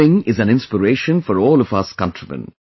This thing is an inspiration for all of us countrymen